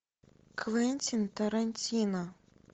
квентин тарантино